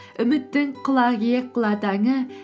үміттің кұлан иек құла таңы